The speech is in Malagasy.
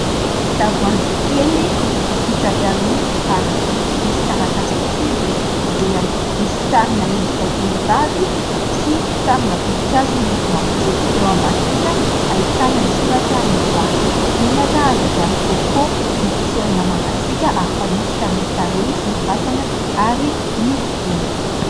Tavoahangy kely vita avy amin'ny fitaratra misy taratasy fotsy mipetaka eo ivelany, misy sarina endrika vehivavy sy sarina voninkazo miloko mavokely. Eo ambany kosa ahitana ny soratra "Ny voary". Menaka azo avy amin'ny "coco" nopotserina mangatsiaka ary fanosotra amin'ny tarehy sy ny vatana ary ny volo.